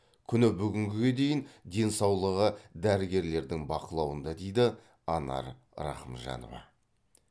күні бүгінге дейін денсаулығы дәрігерлердің бақылауында дейді анар рахымжанова